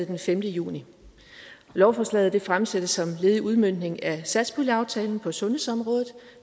den femte juni lovforslaget fremsættes som led i udmøntning af satspuljeaftalen på sundhedsområdet